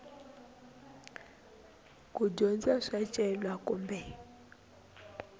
ku dyondza swa swicelwa kumbe